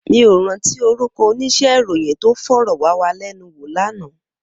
Mi ó ràntí órúkò óníṣè iróyin tó fòròwàwálènúwó làná